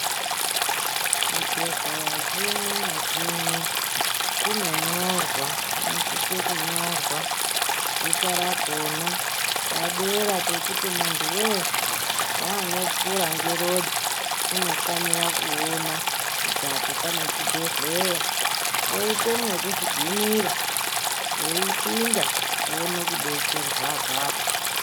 Chibhedhleya chimwe nachimwe chinonyorwa zvinosise kunyorwa zita rakhona padera pekuti muntu weeshe ngaanopfuura ngerodhi unofanire kuona kuti apo pane chibhedhlera poite mwekugumira weipinda woone kudetserwa pona apopo.